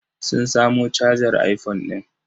Sun samo cajar iphone ɗin?